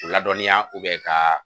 Ladɔnniya ka